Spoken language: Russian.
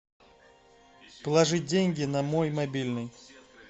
положить деньги на мой мобильный